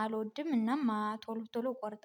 አልወድም እና ቶሎ ቶሎ እቆርጣለሁ